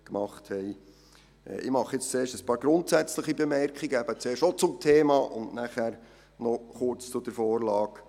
Ich mache als Erstes ein paar grundsätzliche Bemerkungen zum Thema und dann noch kurz zur kantonalen Vorlage.